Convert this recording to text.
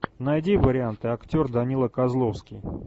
найди варианты актер данила козловский